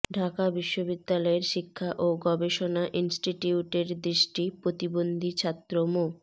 ঢাকা বিশ্ববিদ্যালয়ের শিক্ষা ও গবেষণা ইনস্টিটিউটের দৃষ্টিপ্রতিবন্ধী ছাত্র মো